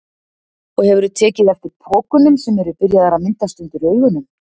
Og hefurðu tekið eftir pokunum sem eru byrjaðir að myndast undir augunum?